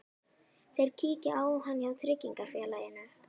Þeir kíkja á hann hjá tryggingarfélaginu.